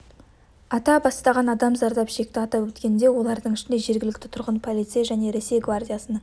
ата бастаған адам зардап шекті атап өткендей олардың ішінде жергілікті тұрғын полицей және ресей гвардиясының